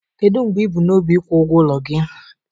Kedu mgbe ị bu n'obi ịkwụ ụgwọ ụlọ gị?